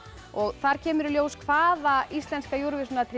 og þar kemur í ljós hvaða íslenska